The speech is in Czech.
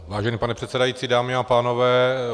Vážený pane předsedající, dámy a pánové.